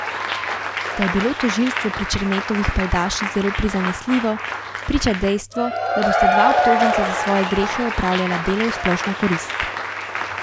Da je bilo tožilstvo pri Černetovih pajdaših zelo prizanesljivo, priča dejstvo, da bosta dva obtoženca za svoje grehe opravljala delo v splošno korist.